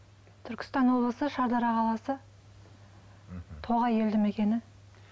түркістан облысы шардара қаласы тоғай елді мекені